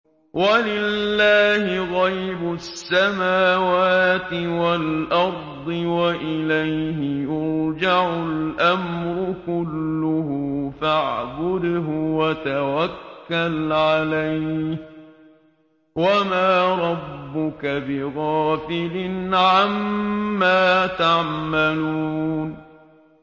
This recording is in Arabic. وَلِلَّهِ غَيْبُ السَّمَاوَاتِ وَالْأَرْضِ وَإِلَيْهِ يُرْجَعُ الْأَمْرُ كُلُّهُ فَاعْبُدْهُ وَتَوَكَّلْ عَلَيْهِ ۚ وَمَا رَبُّكَ بِغَافِلٍ عَمَّا تَعْمَلُونَ